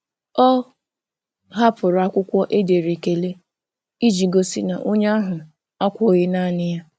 Ọ hapụrụ akwụkwọ e dere ekele iji gosi na onye ahụ akwughị naanị ya.